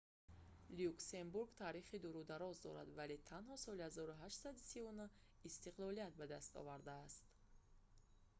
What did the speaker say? люксембург таърихи дуру дароз дорад вале танҳо соли 1839 истиқлолият ба даст овардааст